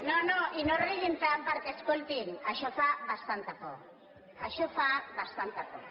no no i no riguin tant perquè escoltin això fa bastanta por això fa bastan ta por